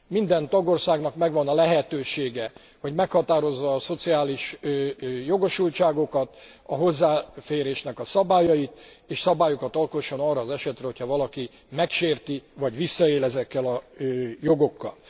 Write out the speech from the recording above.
Minden tagországnak megvan a lehetősége, hogy meghatározza a szociális jogosultságokat, a hozzáférésnek a szabályait, és szabályokat alkosson arra az esetre, hogyha valaki megsérti vagy visszaél ezekkel a jogokkal.